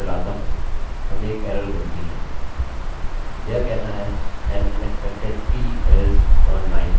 यह कहता है an unexpected t_else on line 8